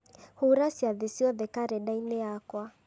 hura ciathĩ ciothe karenda-inĩ yakwa